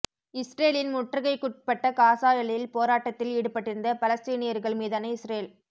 இஸ்ரேலின் முற்றுகைக்குட்பட்ட காசா எல்லையில் போராட்டத்தில் ஈடுபட்டிருந்த பலஸ்தீனியர்கள் மீதான இஸ்ரேல்